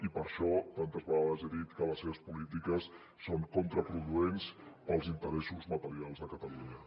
i per això tantes vegades he dit que les seves polítiques són contraproduents per als interessos materials de catalunya